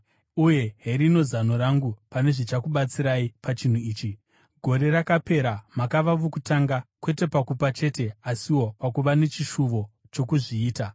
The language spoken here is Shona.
Uye herino zano rangu pane zvichakubatsirai pachinhu ichi: Gore rakapera makava vokutanga kwete pakupa chete asiwo pakuva nechishuvo chokuzviita.